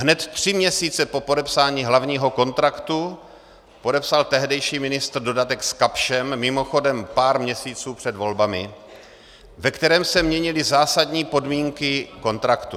Hned tři měsíce po podepsání hlavního kontraktu podepsal tehdejší ministr dodatek s Kapschem, mimochodem pár měsíců před volbami, ve kterém se měnily zásadní podmínky kontraktu.